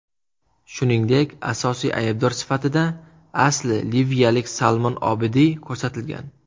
Shuningdek, asosiy aybdor sifatida asli liviyalik Salmon Obidiy ko‘rsatilgan .